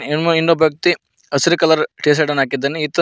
ಇನ್ನೊಬ್ ವ್ಯಕ್ತಿ ಹಸಿರು colour T shirt ಅನ್ನು ಹಾಕಿದ್ದಾನೆ ಈತನ್--